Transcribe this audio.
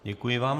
Děkuji vám.